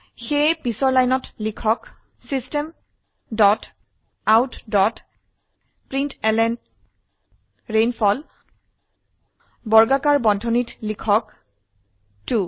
সুেয়ে পিছৰ লাইনত লিখক system dot out dot println rainfall বৰ্গাকাৰ বন্ধনীত লিখক 2